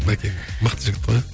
мәкең мықты жігіт қой